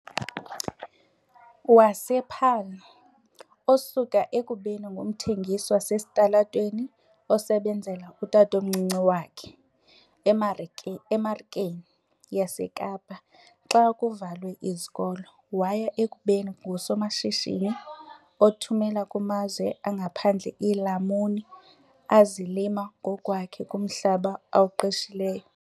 wasePaarl, osuke ekubeni ngumthengisi wasesitalatweni osebenzela utatomncinci wakhe eMarikeni yaseKapa xa kuvalwe izikolo waya ekubeni ngusomashishini othumela kumazwe angaphandle iilamuni azilima ngokwakhe kumhlaba awuqeshileyo.